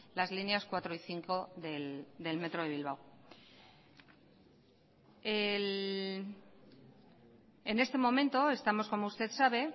las líneas cuatro y cinco del metro de bilbao en este momento estamos como usted sabe